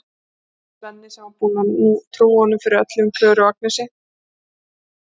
Svenni sem var búinn að trúa honum fyrir öllu um Klöru og Agnesi.